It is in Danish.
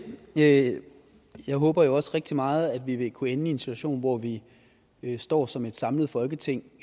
det jeg håber også rigtig meget at vi vil kunne ende i en situation hvor vi vi står som et samlet folketing